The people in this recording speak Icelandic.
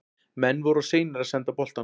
Menn voru of seinir að senda boltann.